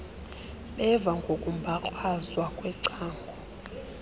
beva ngokumbakrazwa kwecango